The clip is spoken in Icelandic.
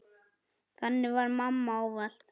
Þannig var mamma ávallt.